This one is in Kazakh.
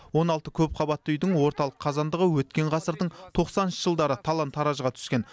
он алты көпқабатты үйдің орталық қазандығы өткен ғасырдың тоқсаныншы жылдары талан таражға түскен